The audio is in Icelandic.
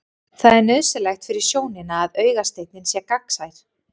Það er nauðsynlegt fyrir sjónina að augasteininn sé gegnsær.